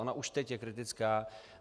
Ona už teď je kritická.